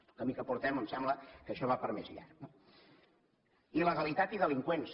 pel camí que portem em sembla que això va per més llarg no il·legalitat i delinqüents